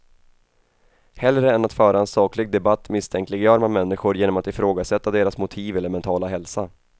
Hellre än att föra en saklig debatt misstänkliggör man människor genom att ifrågasätta deras motiv eller mentala hälsa.